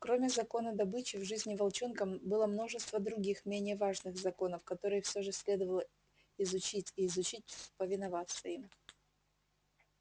кроме закона добычи в жизни волчонка было множество других менее важных законов которые всё же следовало изучить и изучить повиноваться им